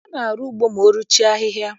A na-arụ ugbo mao ruchie ahịhịa.